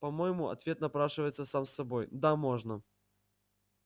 по-моему ответ напрашивается сам собой да можно